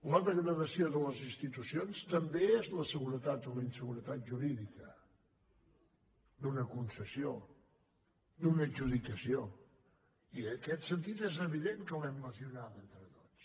la degradació de les institucions també és la seguretat o la inseguretat jurídica d’una concessió d’una adjudicació i en aquest sentit és evident que l’hem lesionada entre tots